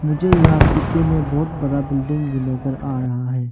जो यहां पीछे में बहुत बड़ा बिल्डिंग भी नजर आ रहा है।